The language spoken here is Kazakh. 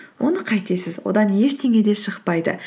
оны қайтесіз одан ештеңе де шықпайды